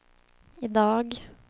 idag